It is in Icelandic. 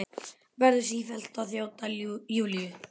Verður sífellt að þjóta, Júlía.